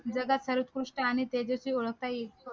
जगात उत्कृष्ट आणि तेजस्वी ओळखता येईल